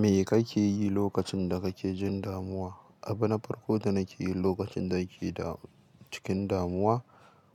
Me kake yi lokacin da kake jin damuwa? Abin farko da nake yi lokacin da ake da cikin damuwa